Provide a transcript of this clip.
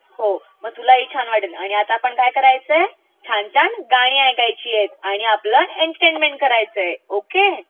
हो मग तुला ही छान वाटेल, आता आपणं काय करायचयस छान छान गाणी ऐकायचीयत आणि आपलं एन्टर्टेन करायचय...ओके?